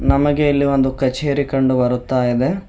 ನಮಗೆ ಇಲ್ಲಿ ಒಂದು ಕಚೇರಿ ಕಂಡು ಬರುತ್ತಾ ಇದೆ.